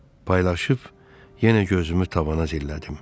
Paylaşıb yenə gözümü tavana zillədim.